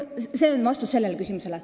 See on vastus küsimusele.